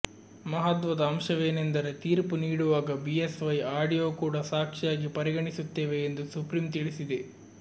ಮಹತ್ವದ ಅಂಶವೇನೆಂದರೆ ತೀರ್ಪು ನೀಡುವಾಗ ಬಿಎಸ್ವೈ ಆಡಿಯೋ ಕೂಡ ಸಾಕ್ಷಿಯಾಗಿ ಪರಿಗಣಿಸುತ್ತೇವೆ ಎಂದು ಸುಪ್ರೀಂ ತಿಳಿಸಿದೆ